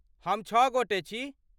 हम छ गोटे छी।